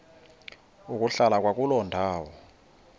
ukuhlala kwakuloo ndawo